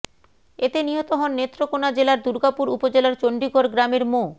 এতে নিহত হন নেত্রকোনা জেলার দুর্গাপুর উপজেলার চণ্ডীগড় গ্রামের মো